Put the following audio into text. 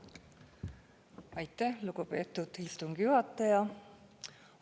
Aitäh, lugupeetud istungi juhataja!